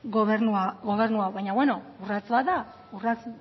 gobernu hau baina beno urrats bat da